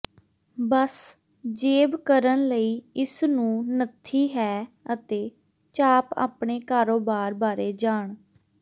ਬਸ ਜੇਬ ਕਰਨ ਲਈ ਇਸ ਨੂੰ ਨੱਥੀ ਹੈ ਅਤੇ ਚਾਪ ਆਪਣੇ ਕਾਰੋਬਾਰ ਬਾਰੇ ਜਾਣ